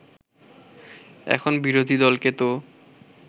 এখন বিরোধী দলকে তো